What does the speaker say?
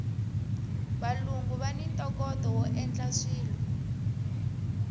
valungu vani ntokoto woendla swilo